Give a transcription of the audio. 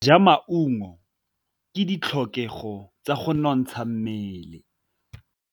Go ja maungo ke ditlhokegô tsa go nontsha mmele.